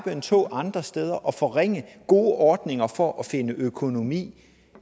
en tå andre steder og forringe gode ordninger for at finde en økonomi